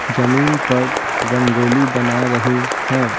जमीन पर रंगोली बना रही हैं।